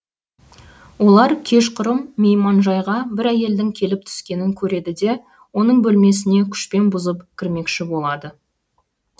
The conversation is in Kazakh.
олар кешқұрым мейманжайға бір әйелдің келіп түскенін көреді де оның бөлмесіне күшпен бұзып кірмекші болады